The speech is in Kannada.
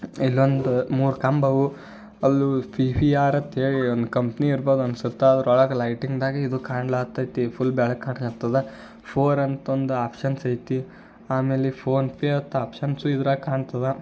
ಇದೊಂದು ಮೂರು ಕಂಬವು ಅಲ್ಲು ಪಿ.ಪಿ.ಆರ್ ಅಂತ ಹೇಳಿ ಒಂದು ಕಂಪನಿ ಇರಬಹುದು ಅಂತ ಅನ್ಸುತ್ತೆ ಆದ್ರ ಒಳಗಡೆ ಲೈಟಿಂಗ್ ನಾಗ ಇದು ಕಣಾ ಆತ್ಯೆತಿ. ಫುಲ್ ಬೆಳಕು ಹಾಗ ಹತ್ತೆದಾ ಫೋರ್ ಅಂತ ಒಂದು ಆಪ್ಶನ್ಸ್ ಐತಿ. ಆಮೇಲೆ ಫೋನ್ ಪೇ ಅಂತ ಆಪ್ಶನ್ಸ್ ಇದರಾಗ ಕಣ್ತಾದ.